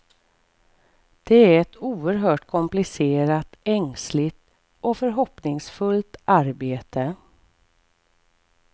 Det är ett oerhört komplicerat, ängsligt och förhoppningsfullt arbete.